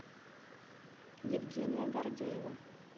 евгения гордеева